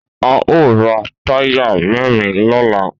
A o ra táyà mẹ́rin lọ́la.